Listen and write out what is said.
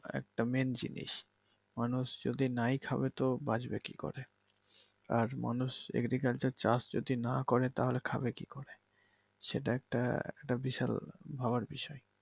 একটা মেইন জিনিস। মানুষ যদি নাই খাবে তো বাঁচবে কি করে? আর মানুষ agriculture চাষ যদি নাহ করে তাহলে খাবে কি করে? সেটা একটা বিশাল ভাবার বিষয়।